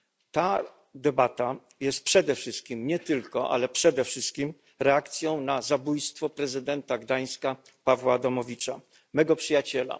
Ta debata jest przede wszystkim nie tylko, ale przede wszystkim reakcją na zabójstwo prezydenta Gdańska Pawła Adamowicza, mego przyjaciela.